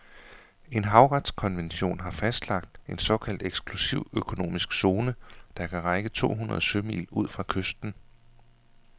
En havretskonvention har fastlagt en såkaldt eksklusiv økonomisk zone, der kan række to hundrede sømil ud fra kysten.